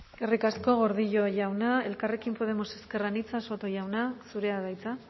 eskerrik asko gordillo jauna elkarrekin podemos ezker anitza soto jauna zurea da hitza